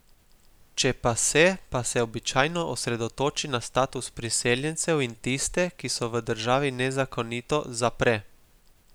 Če pa se, pa se običajno osredotoči na status priseljencev in tiste, ki so v državi nezakonito, zapre.